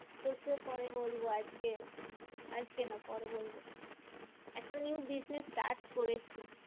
তোকে পরে বলবো আজকে আজকে না পরে বলবো। একটা new business start করেছি।